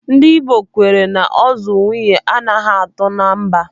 Ndị Igbo kwenyere na ozu nwaanyị anaghị atọ na mba.